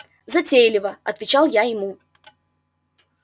затейлива отвечал я ему